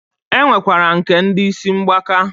E nwekwara nke ndi isi mgbaka.